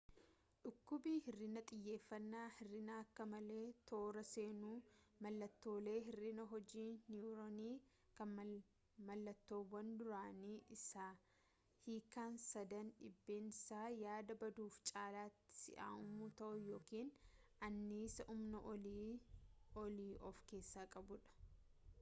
dhukkubni hir'ina xiyyeeffannaa hir'ina akka malee toora seenu mallattoolee hir'ina hojii-niyuroonii kan mallattoowwan duraanii isa hiikan sadan dhiibamsa yaada baduufi caalaati si'aawuu ta'uu yookiin annisaa humna olii of keessaa qabuudha